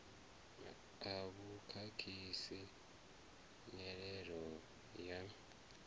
a vhu khakhisi nyelelo ya